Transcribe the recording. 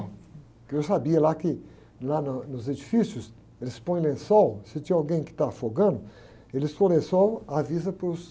Porque eu sabia lá que, lá na, nos edifícios, eles põem lençol, se tiver alguém que está afogando, eles põem lençol, avisam para os